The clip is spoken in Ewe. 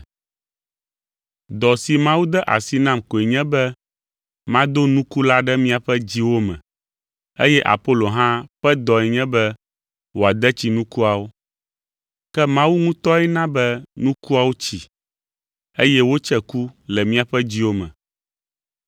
Dɔ si Mawu de asi nam koe nye be mado nuku la ɖe miaƒe dziwo me, eye Apolo hã ƒe dɔe nye be wòade tsi nukuawo. Ke Mawu ŋutɔe na be nukuawo tsi, eye wotse ku le miaƒe dziwo me.